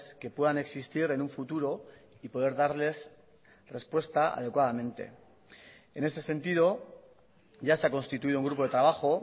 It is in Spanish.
que puedan existir en un futuro y poder darles respuesta adecuadamente en ese sentido ya se ha constituido un grupo de trabajo